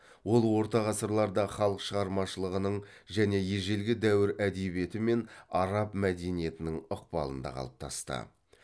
ол орта ғасырларда халық шығармашылығың және ежелгі дәуір әдебиеті мен араб мәдениетінің ықпалында қалыптасты